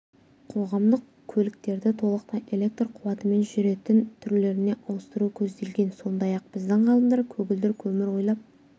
қоғамдық көліктерді толықтай электр қуатымен жүретін түрлеріне ауыстыру көзделген сондай-ақ біздің ғалымдар көгілдір көмір ойлап